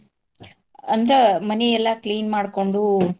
ಅಂದ್ರ ಮನೀ ಎಲ್ಲಾ clean ಮಾಡ್ಕೊಂಡು.